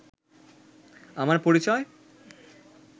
আমার পরিচয়